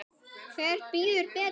Hver bíður betur?